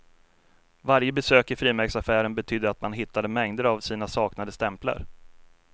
Varje besök i frimärksaffären betydde att man hittade mängder av sina saknade stämplar.